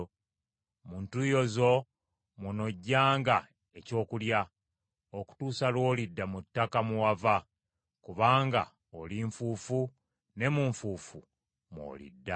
Mu ntuuyo zo mw’onoggyanga ekyokulya, okutuusa lw’olidda mu ttaka mwe wava, kubanga oli nfuufu ne mu nfuufu mw’olidda.”